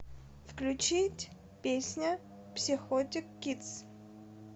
включить песня психотик кидс